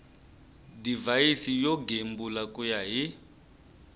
divhayisi yo gembula ku ya